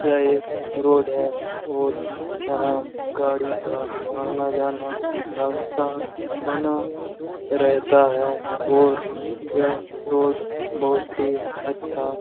यह एक रोड है और यहां गाड़ी का आना-जाना लगातार बना रेहता है और यह रोड बहुत ही अच्छा --